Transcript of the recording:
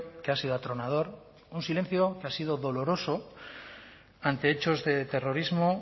que ha sido atronador un silencio que ha sido doloroso ante hechos de terrorismo